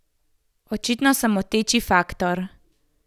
Očitno sem moteči faktor.